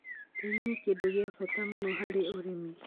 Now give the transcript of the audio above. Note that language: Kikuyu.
Tĩĩri nĩ kĩndũ gĩa bata mũno harĩ ũrĩmi.